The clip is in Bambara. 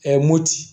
moti